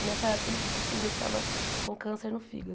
E nessa época ele descobriu que estava com câncer no fígado.